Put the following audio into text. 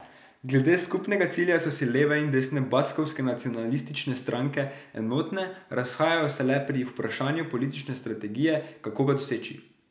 Glede skupnega cilja so si leve in desne baskovske nacionalistične stranke enotne, razhajajo se le pri vprašanju politične strategije, kako ga doseči.